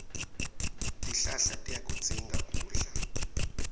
tihlahla tiyakudzinga kudla